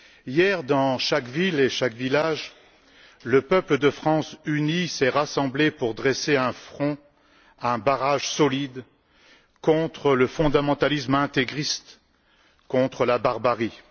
Hier, dans chaque ville et dans chaque village, le peuple de France, uni, s'est rassemblé pour dresser un front, un barrage solide contre le fondamentalisme intégriste, contre la barbarie.